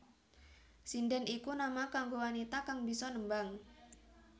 Sindhèn iku nama kanggo wanita kang bisa nembang